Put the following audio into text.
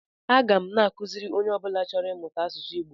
Aga m akụziri onye ọ bụla chọrọ ịmụta asụsụ Igbo